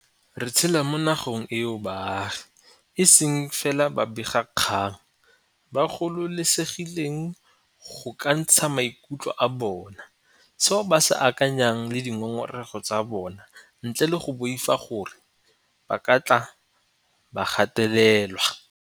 Re tshela mo na geng eo baagi, e seng fela babega kgang, ba gololesegileng go ka ntsha maikutlo a bona, seo ba se akanyang le dingongorego tsa bona ntle le go boifa gore ba ka tle ba gatelelwa.